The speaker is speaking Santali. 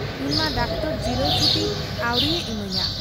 ᱤᱧᱢᱟ ᱰᱟᱠᱛᱚᱨ ᱡᱤᱨᱟᱹᱣ ᱪᱷᱩᱴᱤ ᱟᱹᱣᱨᱤᱭᱮ ᱤᱢᱟᱹᱧᱟ ᱾